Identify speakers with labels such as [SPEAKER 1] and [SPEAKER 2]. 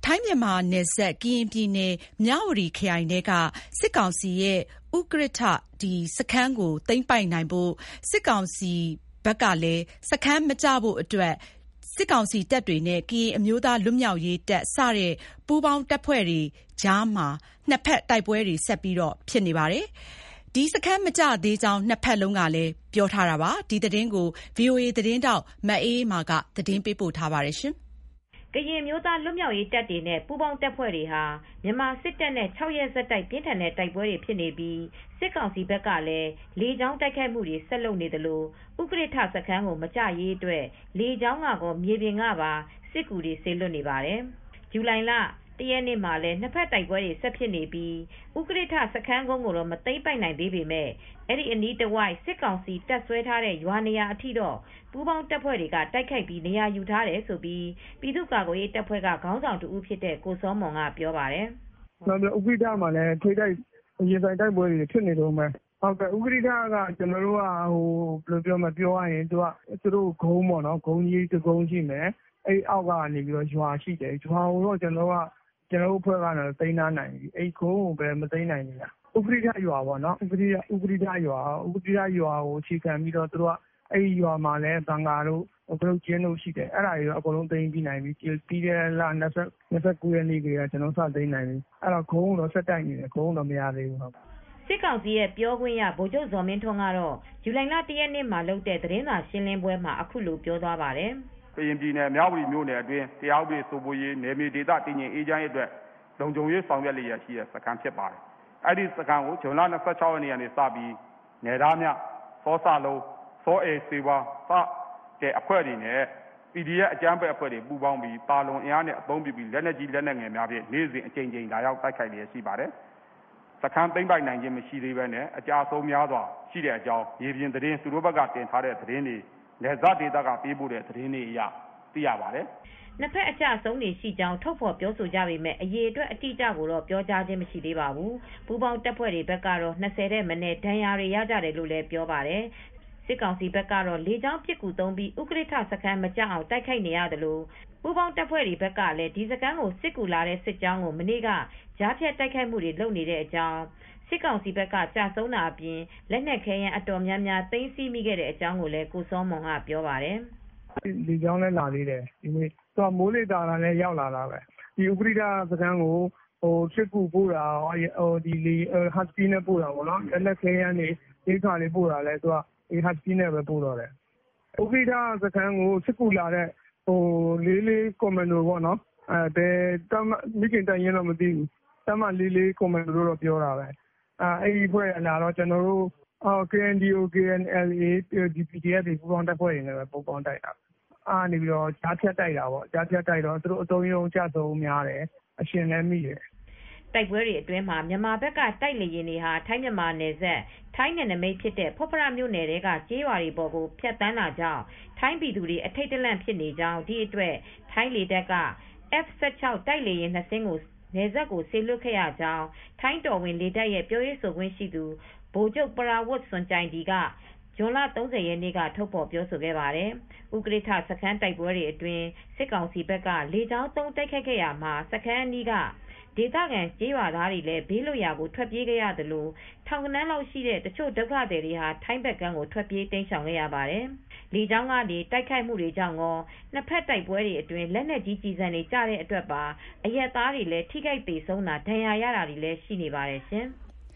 [SPEAKER 1] ိုင်း-မြန်မာနယ်စပ် ကရင်ပြည်နယ် မြဝတီခရိုင်ထဲက စစ်ကောင်စီရဲ့ ဥကရစ်ထ စခန်းကိုသိမ်းပိုက်နိုင်ဖို့၊ စစ်ကောင်စီဘက်ကလည်း စခန်းမကျဖို့အတွက် စစ်ကောင်စီတပ်တွေနဲ့ ကရင်အမျိုးသားလွတ်မြောက်ရေးတပ်စတဲ့ပူးပေါင်းတပ်ဖွဲ့တွေကြား နှစ်ဘက်တိုက်ပွဲတွေ ဆက်ဖြစ်နေပါတယ်။ ဥကရစ်ထစခန်း မကျသေးကြောင်း နှစ်ဘက်လုံးကပြောပါတယ်။ ဒီသတင်းကိုဗွီအိုအေသတင်းထောက်မအေးအေးမာက သတင်းပေးပို့ထားပါတယ်။
[SPEAKER 2] ကရင်အမျိုးသားလွတ်မြောက်ရေးတပ်တွေနဲ့ပူးပေါင်းတပ်ဖွဲ့တွေဟာ မြန်မာစစ်တပ်နဲ့ ခြောက်ရက် ဆက်တိုက် ပြင်းထန်တဲ့တိုက်ပွဲတွေဖြစ်နေပြီး စစ်ကောင်စီဘက် ကလည်း လေကြောင်းတိုက်ခိုက်မှုတွေနဲ့အတူ ဥကရစ်ထစခန်းကိုမကျရေးအတွက် လေကြောင်းကကော မြေပြင်ကပါ စစ်ကူတွေစေလွှတ်နေပါတယ်။ ဇူလိုင်လ ၁ ရက်နေ့မှာလည်း နှစ်ဘက်တိုက်ပွဲတွေဆက်ဖြစ်နေပြီး ဥကရစ်ထစခန်းကုန်းကိုတော့ မသိမ်းပိုက်နိုင်သေးပေမယ့် အဲဒီအနီးတဝိုက်က စစ်ကောင်စီ တပ်စွဲထားတဲ့ရွာနေရာထိတော့ ပူးပေါင်းတပ်ဖွဲတွေ တိုက်ခိုက်ပြီး နေရာယူထားတယ်လို့ ပြည်သူ့ကာကွယ်ရေးတပ်ဖွဲ့က ခေါင်းဆောင်တဦးဖြစ်တဲ့ကိုစောမွန်က ပြောပါတယ်။ “
[SPEAKER 3] ဥကရစ်ထမှာလည်း ထိတ်တိုက် ရင်ဆိုင်တိုက်ပွဲတွေဖြစ်နေတုန်းပဲ။ ဥကရစ်ထကတော့ ပြောရရင် သူတို့ရဲ့ ကုန်းလေးတကုန်းရှိတယ်။ အောက်မှာတော့ ရွာရှိတယ်။ အဲဒီမှာ ရွာကိုတော့ ကျနော်တို့သိမ်းလိုက်နိုင်တယ်။ ကုန်းကိုတော့မသိမ်းထားနိုင်သေးဘူး။ ရွာဆိုတာကတော့ ဥကရစ်ထရွာကို သူတို့ကအခြေခံတပ်စွဲပြီးရွာမှာ ကတုပ်ကျင်းတို့၊ ဘန်ကာတို့ှလုပ်ထားတယ်။ အဲဒီနေရာကိုတော့ ကျနော်တို့ သိမ်းလိုက်နိုင်ပြီ။ ပြီးခဲ့တဲ့လ၂၉ ရက်နေ့ကတည်းက သိမ်းလိုက်နိုင်ပြီ။ကုန်းကိုတော့ ဆက်တိုက်နေတုန်းပဲ။”
[SPEAKER 2] စစ်ကောင်စီပြောခွင့်ရ ဗိုလ်ချုပ်ဇော်မင်းထွန်းကတော့ ဇူလိုင်လ ၁ ရက်နေ့မှာလုပ်တဲ့ သတင်းစာရှင်းလင်းပွဲမှာ အ
[SPEAKER 4] ခုလိုပြောသွားပါတယ်။ “ဥကရစ်ထစခန်းဟာ ကရင်ပြည်နယ် မြဝတီမြို့အတွင်း တရားဥပဒေစိုးမိုးရေး၊ နယ်မြေအေးချမ်းတည်ငြိမ်ရေးအတွက် လုံခြုံရေးဆောင်ရွက်နေတဲ့စခန်းဖြစ်ပါတယ်။ အဲဒီစခန်းကို ဇူလိုင် ၂၆ ရက်နေ့က နယ်ဒါးမြ၊ စောစလုံးနဲ့ စောအယ်စေးဝါး PDF တို့ ပူးပေါင်းပြီး သာလွန်အင်အားနဲ့ အသုံးပြုပြီးနေ့စဉ်အကြိမ်ကြိမ် လက်နက်ကြီးလက်နက်ငယ်တွေနဲ့ လာရောက်တိုက်ခိုက်ခဲ့ပါတယ်။ စခန်းသိမ်းပိုက်နိုင်ခြင်းမရှိသေးဘဲနဲ့ အကျအဆုံးများစွာရှိတဲ့အကြောင်းကို သူတို့ဘက်ကတင်တဲ့သတင်း၊ မြေပြင်သတင်း၊ နယ်စပ်ဒေသကနေပို့တဲ့သတင်းတွေအရ သိရပါတယ်။
[SPEAKER 2] ” နှစ်ဘက်အကျအဆုံးတွေရှိကြောင်း ထုတ်ဖော်ပြောဆိုကြပေမယ့် အရေအတွက်အတိအကျကိုတော့ ပြောကြားခြင်းမရှိသေးပါဘူး။ ပူးပေါင်းတပ်ဖွဲ့တွေဘက်ကတော့ ၂၀ ထက်မနည်း ဒဏ်ရာတွေရကြတယ်လို့ပြောပါတယ်။ စစ်ကောင်စီဘက်ကတော့ လေကြောင်းပစ်ကူသုံးပြီး ဥကရစ်ထစခန်းမကျအောင် တိုက်ခိုက်နေသလို ပူးပေါင်းတပ်ဖွဲ့တွေဘက်ကလည်း ဒီစခန်းကိုစစ်ကူလာတဲ့စစ်ကြောင်းကို မနေ့က ကြားဖြတ်တိုက်ခိုက်နေတဲ့အတွက် စစ်ကောင်စီတပ်ဘက်က ကျဆုံးတာအပြင် လက်နက်ခဲယမ်းအတော်များများ သိမ်းဆည်းမိခဲ့တဲ့အကြောင်းကိုလည်း ကိုစောမွန်ကပြောပါတယ်
[SPEAKER 3] ။ “လေကြောင်းလမ်းကနေ ဒီနေ့လည်းလာသေးတယ်။ သူတို့က မိုးလေဝသ သာတာနဲ့ရောက်လာတာပဲ။ ဥကရစ်ထစခန်းကိုစစ်ကူပို့တာ။ ကောဟတ်စကီးနဲ့ ပို့တာပေါ့။ လက်နက်ခဲယမ်းတွေ၊ ရိက္ခာပို့တာလည်း သူတို့က ဟတ်စကီးနဲ့ပဲပို့တော့တယ်။ ဥကရစ်ထစခန်းကိုစစ်ကူလာတဲ့ တပ်မ ၄၄ ကွန်မန်ဒို မိခင်တပ်ရင်းတော့ မသိဘူး။ တပ်မ ၄၄ လာတော့ ကျနော်တို့ KNDO/ KNLA /PDF ပူးပေါင်းတပ်ဖွဲ့တွေနဲ့တိုက်တာပဲ။ ကြားဖြတ်တိုက်တော့ သူတို့ အတုံးအရုံး အကျအဆုံးများတယ်။ အရှင်လည်းမိတယ်။
[SPEAKER 2] ” တိုက်ပွဲတွေအတွင်းမှာ မြန်မာဘက်က တိုက်လေယာဉ်တွေဟာ ထိုင်း မြန်မာနယ်စပ် ထိုင်းနယ်နမိတ်ဖြစ်တဲ့ ဖွတ်ဖရ မြို့နယ်ထဲကကျေးရွာပေါ်ကို ဖြတ်သန်းတာကြောင့် ထိုင်းပြည်သူတွေ အထိတ်တလန့်ဖြစ်နေကြောင်း၊ ဒီအတွက် ထိုင်းလေတပ်က F16 တိုက်လေယာဉ် နှစ်စင်းကို နယ်စပ်ကိုစေလွှတ်ခဲ့ရကြောင်း ထိုင်းတော်ဝင်လေတပ်ရဲ့ပြောရေးဆိုခွင့်ရှိသူ ဗိုလ်ချုပ် ပရာဝတ်စွန်ကျိုင်ဒီကလည်း ဇွန်လ ၃၀ ရက်နေ့က ထုတ်ဖော်ပြောဆိုခဲ့ပါတယ်။ ဥကရစ်ထစခန်းတိုက်ပွဲအတွင်း စစ်ကောင်စီဘက်ကလေကြောင်းသုံးတိုက်ခိုက်ခဲ့ရာမှာ စခန်းအနီးက ဒေသခံကျေးရွာသားတွေလည်း ဘေးလွတ်ရာကိုထွက်ပြေးခဲ့ရသလို ထောင်ဂဏန်းလောက်ရှိတဲ့ တချို့ ဒုက္ခသည်တွေဟာ ထိုင်းဘက်ကမ်းထိ ထွက်ပြေးတိမ်းရှောင်ခဲ့ရပါတယ်။ လေကြောင်းတိုက်ခိုက်မှုတွေကြောင့်ကော၊ နှစ်ဘက်တိုက်ပွဲတွေအတွင်း လက်နက်ကြီးကျည်ဆံတွေကျတဲ့အတွက်ပါ အရပ်သားတွေ ထိခိုက်သေဆုံးတာ၊ ဒဏ်ရာရတာတွေလည်း ရှိနေပါတယ်ရှင်။